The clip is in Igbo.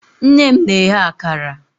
nne m na-eghe akara.